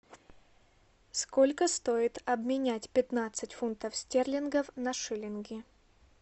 сколько стоит обменять пятнадцать фунтов стерлингов на шиллинги